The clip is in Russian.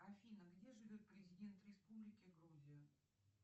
афина где живет президент республики грузия